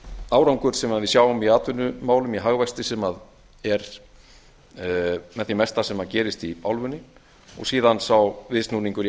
árangur sem við sjáum í atvinnumálum í hagvexti sem er með því mesta sem gerist í álfunni og síðan sá viðsnúningur í